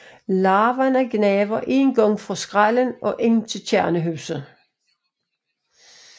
Larverne gnaver en gang fra skrællen og ind til kernehuset